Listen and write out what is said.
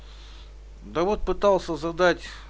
да вот пытался задать